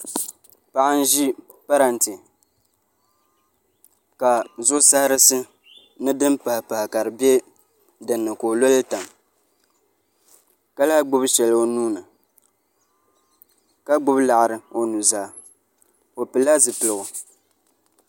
paɣa n-ʒi parante ka zuɣ' sahirisi ni din pahipahi be dinni ka o lo li tam ka lahi gbubi shɛli o nuu ni ka gbubi liɣiri o nuzaa o pili la zipiligu